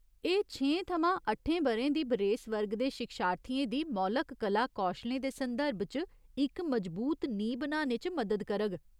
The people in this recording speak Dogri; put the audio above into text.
एह् छेहें थमां अट्ठें ब'रें दी बरेस वर्ग दे शिक्षार्थियें दी मौलक कला कौशलें दे संदर्भ च इक मजबूत नींह् बनाने च मदद करग।